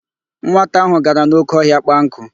Nwata ahụ gara n'óké ọhịa kpaa nkụ.